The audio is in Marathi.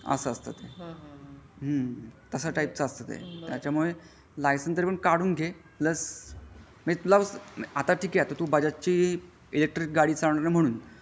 असा असता ते त्याचमुळे लायसेन्स तरी पण तू काढून घे आता तू ठीक आहे बजाज ची इलेकट्रीक गाडी चालवणार आहे म्हणून .